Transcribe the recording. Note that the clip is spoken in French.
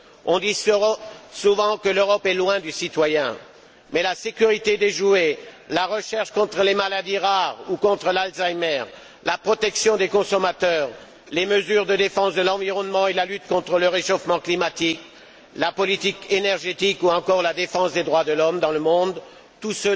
On dit souvent que l'Europe est loin du citoyen, mais des questions comme la sécurité des jouets, la recherche contre les maladies rares ou contre la maladie d'Alzheimer, la protection des consommateurs, les mesures de défense de l'environnement et la lutte contre le réchauffement climatique, la politique énergétique ou encore la défense des droits de l'homme dans le monde sont